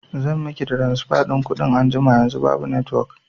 zan miki tiransifa ɗin kuɗin anjima, yanzu babu netiwok